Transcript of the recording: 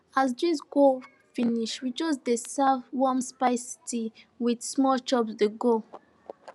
as drinks go finish we just dey serve warm spice tea with small chops dey go